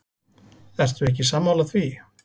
Ertu ekki sammála því?